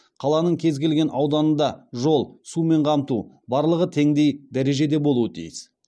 қаланың кез келген ауданында жол сумен қамту барлығы теңдей дәрежеде болуы тиіс